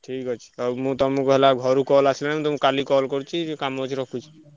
ଠିକ୍ ଅଛି ଆଉ ମୁଁ ତମୁକୁ ହେଲା ଘରୁ call ଆସିଲାଣି। ମୁଁ ତମୁକୁ କାଲି call କରୁଚି। କାମ ଅଛି ରଖୁଛି।